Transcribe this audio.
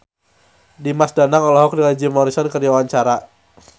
Dimas Danang olohok ningali Jim Morrison keur diwawancara